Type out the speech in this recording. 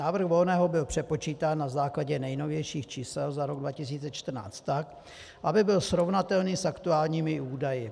Návrh Volného byl přepočítán na základě nejnovějších čísel za rok 2014 tak, aby byl srovnatelný s aktuálními údaji.